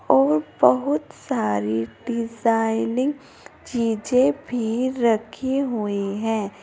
और बहुत सारी डिजाइनिंग चीजें भी रखी हुई हैं।